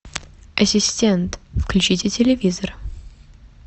ассистент включите телевизор